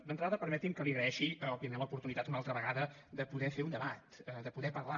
d’entrada permeti’m que li agraeixi primer l’oportunitat una altra vegada de poder fer un debat de poder parlar